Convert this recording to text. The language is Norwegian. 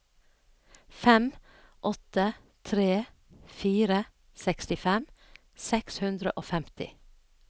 fem åtte tre fire sekstifem seks hundre og femti